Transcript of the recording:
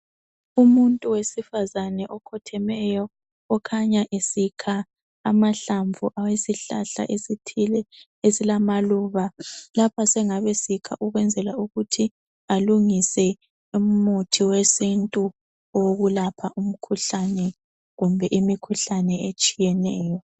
Umuntu owesifazana okhothemeyo okhanya esikha amahlamvu awesihlahla esithile esilamaluba lapha esengabe esikha ukwenzela ukuthi balungise umuthi wesintu owokulapha umkhuhlane kumbe imikhuhlane etshiyeneyo.